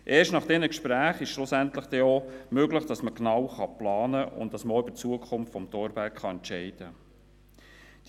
Erst nach diesen Gesprächen wird es schlussendlich auch möglich sein, genau zu planen und auch über die Zukunft des Thorbergs entscheiden zu können.